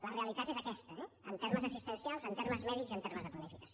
la realitat és aquesta eh en termes assistencials en termes mèdics i en termes de planificació